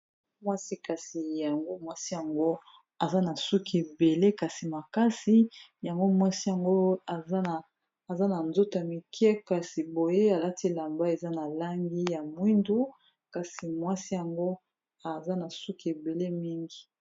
Mwasi kasi yango, mwasi yango aza na suki ebele kasi makasi. Yango mwasi yango, aza na nzoto ya mikie. Kasi boye, alati elamba eza na langi ya mwindu. Kasi mwasi yango, aza na suki ebele mingi !